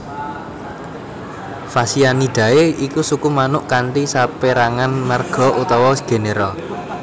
Phasianidae iku suku manuk kanthi sapérangan marga utawa genera